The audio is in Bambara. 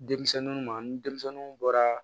Denmisɛnninw ma ni denmisɛnninw bɔra